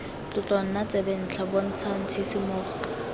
tlotlo nna tsebentlha bontshang tshisimogo